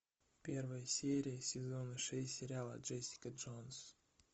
первая серия сезона шесть сериала джессика джонс